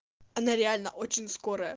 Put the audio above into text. она реально очень скорая